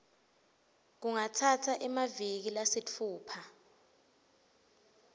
kungatsatsa emaviki lasitfupha